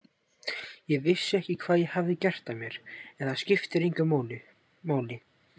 Ég vissi ekki hvað ég hafði gert af mér en það skiptir engu máli.